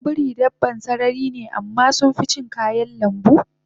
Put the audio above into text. Goggon biri dabban sarari ne amma sunficin kayan lambu